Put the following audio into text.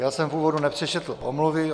Já jsem v úvodu nepřečetl omluvy.